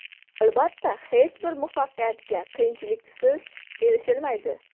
Albatta, hech bir muvaffaqiyatga qiyinchiliksiz erishilmaydi.